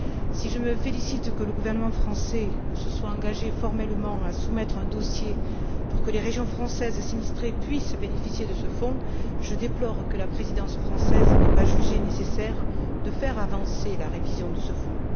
Si je me félicite que le gouvernement français se soit engagé formellement à soumettre un dossier pour que les régions françaises sinistrées puissent bénéficier de ce fonds, je déplore que la Présidence française n'ait pas jugé nécessaire de faire avancer la révision de ce fonds.